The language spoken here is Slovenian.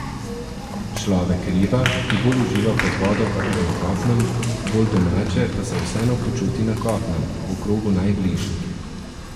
Človek riba, ki bolj uživa pod vodo kakor na kopnem, bolj domače pa se vseeno počuti na kopnem, v krogu najbližjih.